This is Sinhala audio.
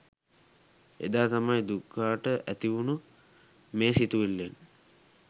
එදා තමයි දුකාට ඇතිවුනු මේ සිතුවිල්ලෙන්